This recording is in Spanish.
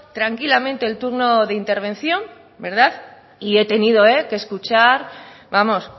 tranquilamente el turno de intervención y he tenido que escuchar vamos